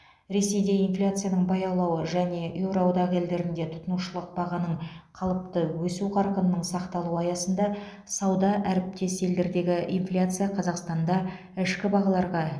ресейде инфляцияның баяулауы және еуроодақ елдерінде тұтынушылық бағаның қалыпты өсу қарқынының сақталуы аясында сауда әріптес елдердегі инфляция қазақстанда ішкі бағаларға